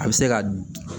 A bɛ se ka